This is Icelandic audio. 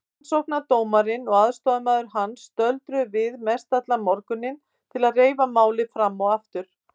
Rannsóknardómarinn og aðstoðarmaður hans stöldruðu við mestallan morguninn til að reifa málið fram og aftur.